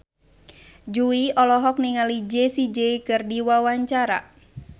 Jui olohok ningali Jessie J keur diwawancara